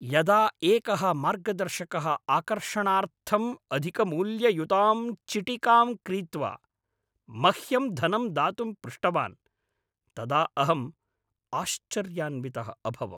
यदा एकः मार्गदर्शकः आकर्षणार्थम् अधिकमूल्ययुतां चिटिकां क्रीत्वा मह्यं धनं दातुं पृष्टवान् तदा अहम् आश्चर्यान्वितः अभवम्।